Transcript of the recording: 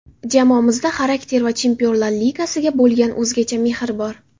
Jamoamizda xarakter va Chempionlar Ligasiga bo‘lgan o‘zgacha mehr bor.